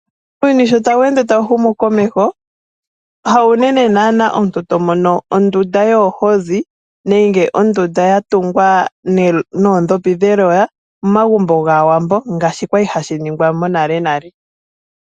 Uuyuni shotawu ende tawu humu komeho, haunene omuntu to mono ondunda yoohozi nenge ondunda yatungwa noondhopi dheloya momagumbo gAawambo. Ngaashi kwali hashi ningwa mo nalenale.